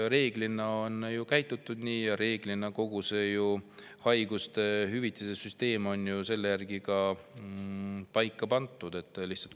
Reeglina on ju nii käitutud ja kogu haigushüvitiste süsteem on selle järgi ka paika pandud.